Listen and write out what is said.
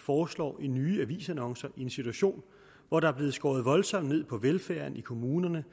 foreslår i nye avisannoncer i en situation hvor der bliver skåret voldsomt ned på velfærden i kommunerne